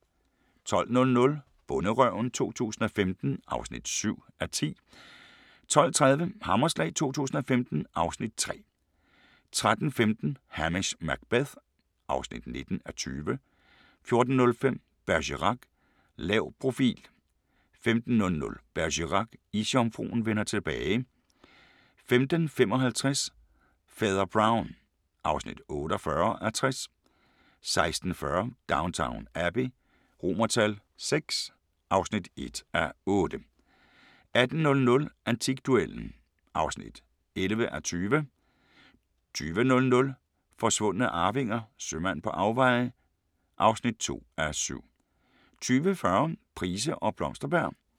12:00: Bonderøven 2015 (7:10) 12:30: Hammerslag 2015 (Afs. 3) 13:15: Hamish Macbeth (19:20) 14:05: Bergerac: Lav profil 15:00: Bergerac: Isjomfruen vender tilbage 15:55: Fader Brown (48:60) 16:40: Downton Abbey VI (1:8) 18:00: Antikduellen (11:20) 20:00: Forsvundne arvinger: Sømand på afveje (2:7) 20:40: Price og Blomsterberg